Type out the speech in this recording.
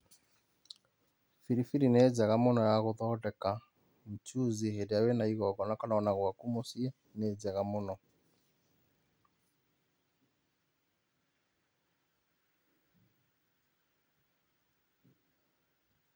Biribiri nĩ njega mũno ya gũthondeka mchuzi hĩndĩ ĩrĩa wĩna igongona kana ona gwaku mũciĩ, nĩ njega mũno.